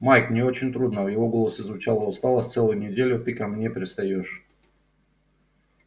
майк мне очень трудно в его голосе звучала усталость целую неделю ты ко мне пристаёшь